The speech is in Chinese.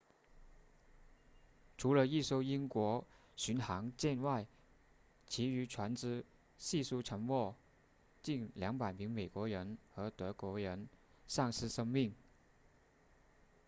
除了一艘英国巡航舰外其余船只悉数沉没近200名美国人和德国人丧失生命